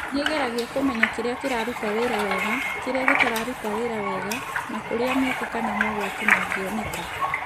Nĩ ĩgeragia kũmenya kĩrĩa kĩraruta wĩra wega, kĩrĩa gĩtaruta wĩra wega, na kũrĩa mĩeke kana mogwati mangĩoneka.